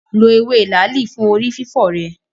Lo ewé làálì fún orí fífọ́ rẹ.